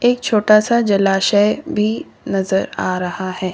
एक छोटा सा जलाशय भी नजर आ रहा है।